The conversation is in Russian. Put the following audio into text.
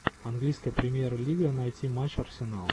английская премьер лига найти матч арсенала